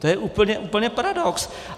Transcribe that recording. To je úplně paradox.